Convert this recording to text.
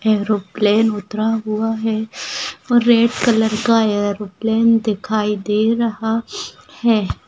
Aeroplane उतरा हुआ है रेड कलर का एरोप्लेन दिखाई दे रहा है।